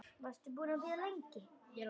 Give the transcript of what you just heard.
Varstu búin að bíða lengi?